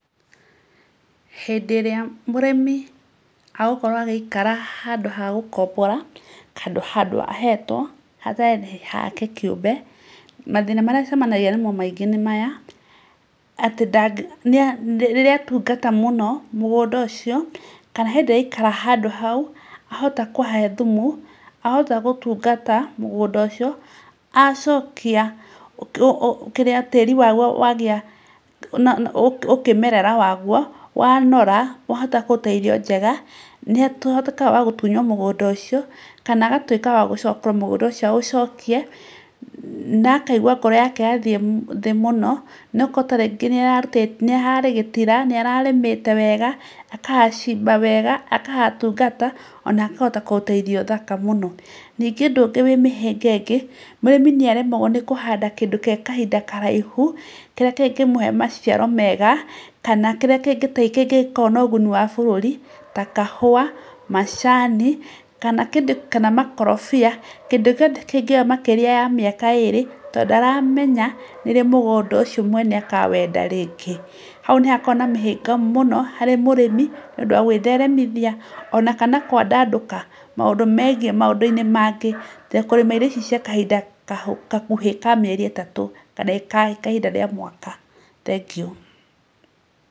Hĩndĩ ĩrĩa mũrĩmi agũkorwo agĩikara handũ ha gũkombora, handũ ahetwo hatarĩ handũ hake kĩũmbe mathĩna marĩa acemanagia namo maingĩ nĩ maya; rĩrĩa atungata mũno mũgũnda ũcio kana hĩndĩ ĩrĩa aikara handũ hau, ahota kũhahe thumu, ahota kũhatungata mũndũ ũcio acokia kĩrĩa tĩri wa kĩmerera wa guo, wanora wahota kũruta irio njega nĩ atuĩkaga wa gũtunywo mũgũnda ũcio kana agatuĩka wa gũchokera mũgũnda ũcio aũcokie, na akaiigua ngoro yake yathiĩ thĩ mũno, nĩ tondũ ta rĩngĩ nĩ hararĩ gĩtira nĩ ararĩmĩte wega akahacimba wega, agatungata ona akahota kũruta irio thaka mũno. Ningĩ ũndũ ũngĩ wĩ mĩhĩnga ĩngĩ mũrĩmi nĩ aremagwo nĩ kũhanda kĩndũ gĩa kahinda na raihu, kĩrĩa kĩngĩmũhe maciaro mega kana kĩrĩa kĩngĩkorwo na ũguni wa bũrũri ta kahũa, macani kana kĩndũ ta makorobia, kĩndũ gĩothe kĩngĩoya makĩria ya mĩaka ĩrĩ tondũ ndaramenya nĩrĩ mwene mũgũnda akawenda rĩngĩ, hau nĩ hakoragwo na mĩhĩnga mũno harĩ mũrĩmi nĩ ũndũ wa gwĩtheremithia ona kana kwandandũka maũndũ megie maũndũ-inĩ mangĩ na kũrĩma irio icio cia kahinda gakuhĩ ka mĩeri ĩtatũ kana ka mwaka thengio.